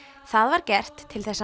það var gert til